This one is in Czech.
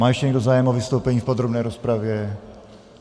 Má ještě někdo zájem o vystoupení v podrobné rozpravě?